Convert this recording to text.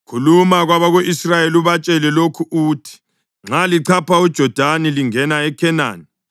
“Khuluma kwabako-Israyeli ubatshele lokhu uthi: ‘Nxa lichapha uJodani lingena eKhenani,